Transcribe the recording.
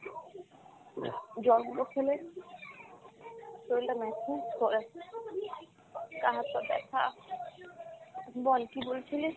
জল গুলো খেলে শরীর টা ম্যাচ ম্যাচ করে, গাঁ হাত পা ব্যাথা, বল কী বলছিলি?